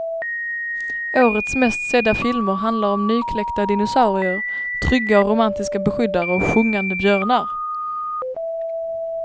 Årets mest sedda filmer handlar om nykläckta dinosaurier, trygga och romantiska beskyddare och sjungande björnar.